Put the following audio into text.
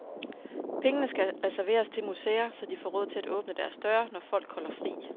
Pengene skal reserveres til museer, så de får råd til at åbne deres døre, når folk holder fri.